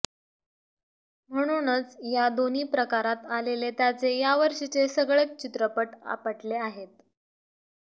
म्हणूनच या दोन्ही प्रकारात आलेले त्याचे यावर्षीचे सगळेच चित्रपट आपटले आहेत